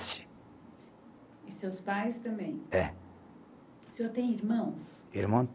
E seus pais também. É. O senhor tem irmãos? Irmão